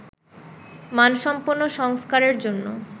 মানসম্পন্ন সংস্কারের জন্য